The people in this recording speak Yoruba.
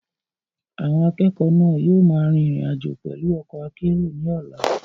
Àwọn akẹ́kọ̀ọ́ náà yóò máa rin ìrìn àjò pẹ̀lú ọkọ̀ akérò ní ọ̀la.